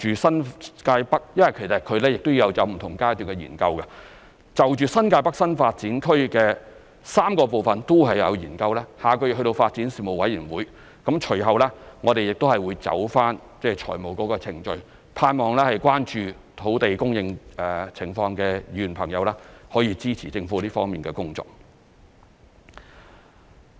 新界北發展有不同階段的研究，我們盼望就新界北發展的3個部分的研究，下個月諮詢發展事務委員會，隨後會走財務程序，盼望關注土地供應情況的議員可以支持政府這方面的工作。